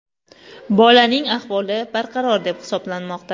Bolaning ahvoli barqaror deb hisoblanmoqda.